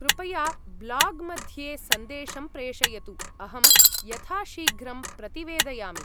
कृपया ब्लाग् मध्ये सन्देशं प्रेषयतु, अहं यथाशीघ्रं प्रतिवेदयामि।